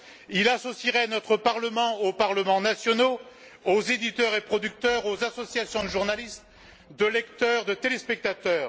Il associerait notre Parlement aux parlements nationaux, aux éditeurs et producteurs, aux associations de journalistes, de lecteurs, de téléspectateurs.